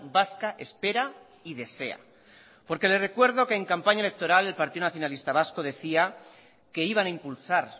vasca espera y desea porque le recuerdo que en campaña electoral el partido nacionalista vasco decía que iban a impulsar